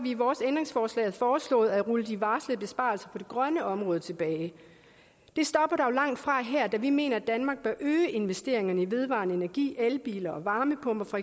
i vores ændringsforslag foreslået at rulle de varslede besparelser på det grønne område tilbage det stopper dog langtfra her da vi mener at danmark bør øge investeringerne i vedvarende energi elbiler og varmepumper for